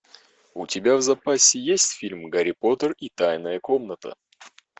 у тебя в запасе есть фильм гарри поттер и тайная комната